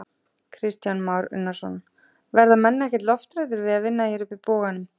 Kristján Már Unnarsson: Verða menn ekkert lofthræddir á að vinna hér uppi í boganum?